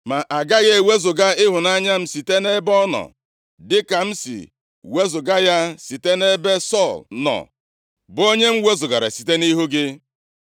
Ma agaghị ewezuga ịhụnanya m site nʼebe ọ nọ, dịka m si wezuga ya site nʼebe Sọl nọ, bụ onye m wezugara site nʼihu gị.